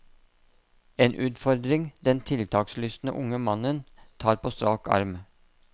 En utfordring den tiltakslystne unge mannen tar på strak arm.